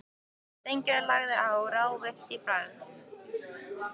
Steingerður lagði á, ráðvillt í bragði.